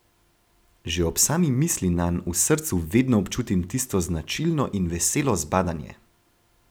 Že ob sami misli nanj v srcu vedno občutim tisto značilno in veselo zbadanje.